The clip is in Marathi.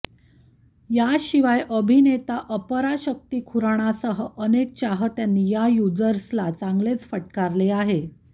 याशिवाय अभिनेता अपराशक्ती खुराणासह अनेक चाहत्यांनी या युजर्सला चांगलेच फटकारले आहे